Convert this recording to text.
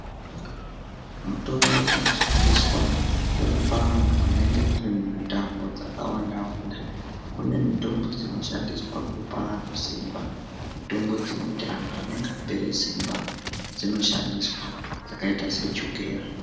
Mitombo dzinoshandiswa kurapa antu anenge ari mumitambo dzakawanda wanda kune mitombo dzinoshandiswa kupa antu simba mitombo dzinoti antu anenge apera simba dzinoshandiswa mitombo dzakaita sechukera.